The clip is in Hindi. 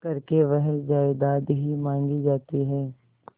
करके वह जायदाद ही मॉँगी जाती है